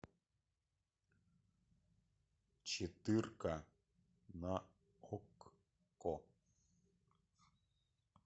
четырка на окко